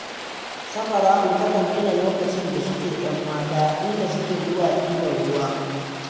Safara'u takan tuna lokacin da suke 'yan mata, inda suke zuwa ɗibar ruwa